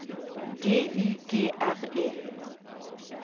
D I G R E